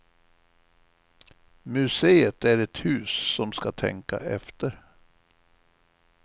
Museet är ett hus som ska tänka efter.